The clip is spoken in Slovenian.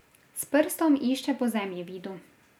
S prstom išče po zemljevidu.